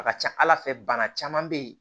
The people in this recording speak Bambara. A ka ca ala fɛ bana caman bɛ yen